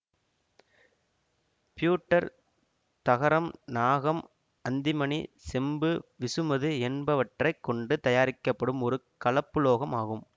future தகரம் நாகம் antimony செம்பு விசுமது என்பவற்றை கொண்டு தயாரிக்கப்படும் ஒரு கலப்புலோகம் ஆகும்